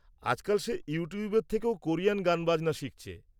-আজকাল সে ইউটিউবের থেকেও কোরিয়ান গানবাজনা শিখছে।